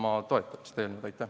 Aitäh!